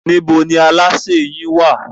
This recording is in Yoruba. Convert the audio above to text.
Níbo ní alásè yín wà?